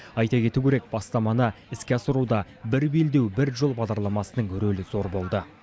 айта кету керек бастаманы іске асыруда бір белдеу бір жол бағдарламасының рөлі зор болды